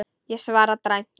Ég svara dræmt.